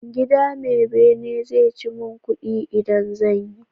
Gida me bene zai ci mun kudi idan zanyi